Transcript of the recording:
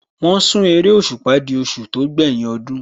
Wọ́n sún eréṣùpá di oṣù tó gbẹ́yìn ọdún